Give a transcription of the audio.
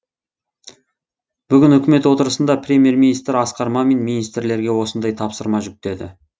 бүгін үкімет отырысында премьер министр асқар мамин министрлерге осындай тапсырма жүктеді